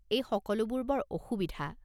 এই সকলোবোৰ বৰ অসুবিধা।